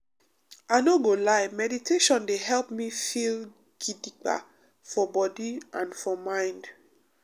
i no go lie meditation dey help me feel gidigba for body and for mind.